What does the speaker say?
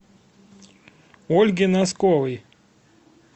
ольге носковой